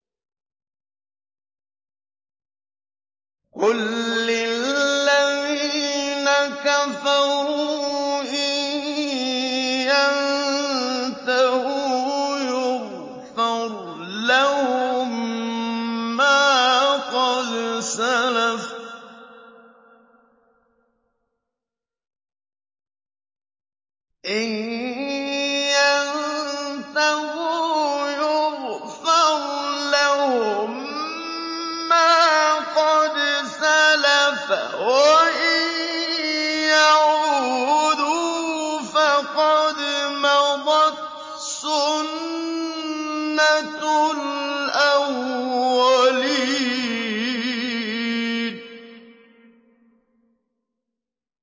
قُل لِّلَّذِينَ كَفَرُوا إِن يَنتَهُوا يُغْفَرْ لَهُم مَّا قَدْ سَلَفَ وَإِن يَعُودُوا فَقَدْ مَضَتْ سُنَّتُ الْأَوَّلِينَ